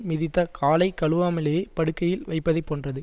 மிதித்த காலை கழுவாமலே படுக்கையில் வைப்பதைப் போன்றது